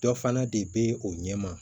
Dɔ fana de be o ɲɛ ma